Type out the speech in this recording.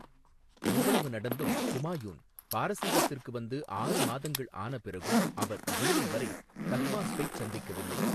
இவ்வளவு நடந்தும், குமாயூன் பாரசீகத்திற்கு வந்து ஆறு மாதங்கள் ஆன பிறகும் அவர் ஜூலை வரை தஹ்மாஸ்பைச் சந்திக்கவில்லை.